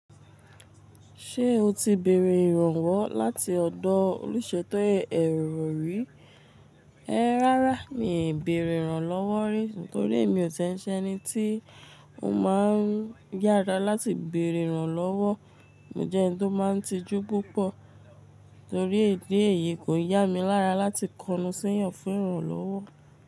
Ṣé o ti bèrè ìrànwọ́ láti ọ̀dọ̀ olùṣètọ́ ẹ̀rọ rì? Ráárá mi ò bèrè ìrànlọ́wọ́ rí, nítorí èmi ò tẹ́nṣẹ́ eni tí ó máa ń yára láti bèrè ìrànlọ́wọ́. Mo jẹ́ ẹni tó máa ń tijú púpọ̀ nítorí idi eyí kò yá mi lára láti kọnu sẹ́yàn fún ìrànlọ́wọ́.